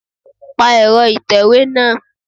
Pa ẹ̀rọ ìtẹ̀wé náà